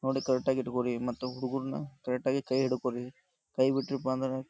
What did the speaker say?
ನೋಡಿ ಕರೆಕ್ಟ್ ಹಿಡ್ಕೋರಿ ಮತ್ತ ಹುಡುಗುರುನು ಕರೆಕ್ಟ್ ಆಗಿ ಕೈ ಹಿಡ್ಕೋ ರೀ. ಕೈ ಬಿಟ್ರೀಯಪ್ಪ ಅಂದ್ರ --